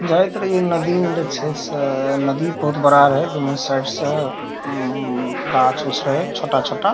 जायत रही नदी में जेई छै से नदी बहुत बड़ा रहे दोनों साइड से गाछ उछ रहे छोटा छोटा ।